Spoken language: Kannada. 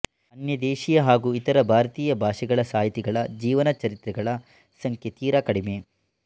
ಅನ್ಯದೇಶೀಯ ಹಾಗೂ ಇತರ ಭಾರತೀಯ ಭಾಷೆಗಳ ಸಾಹಿತಿಗಳ ಜೀವನಚರಿತ್ರೆಗಳ ಸಂಖ್ಯೆ ತೀರ ಕಡಿಮೆ